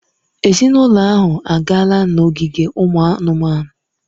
Ezinụlọ ahụ agaala n'ogige ụmụ anụmanụ.